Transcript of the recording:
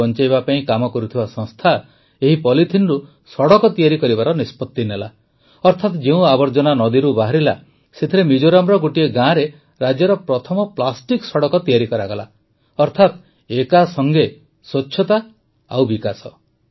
ନଦୀ ବଂଚାଇବା ପାଇଁ କାମ କରୁଥିବା ସଂସ୍ଥା ଏହି ପଲିଥିନରୁ ସଡ଼କ ତିଆରି କରିବାର ନିଷ୍ପତି ନେଲା ଅର୍ଥାତ ଯେଉଁ ଆବର୍ଜନା ନଦୀରୁ ବାହାରିଲା ସେଥିରେ ମିଜୋରାମର ଗୋଟିଏ ଗାଁରେ ରାଜ୍ୟର ପ୍ରଥମ ପ୍ଲାଷ୍ଟିକ୍ ସଡ଼କ ତିଆରି କରାଗଲା ଅର୍ଥାତ ଏକାସଂଗେ ସ୍ୱଚ୍ଛତା ଏବଂ ବିକାଶ